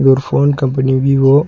ஒரு phone company Vivo .